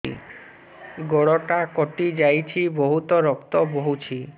ଗୋଡ଼ଟା କଟି ଯାଇଛି ବହୁତ ରକ୍ତ ବହୁଛି